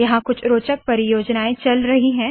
यहाँ कुछ रोचक परियोजनाएँ चल रही है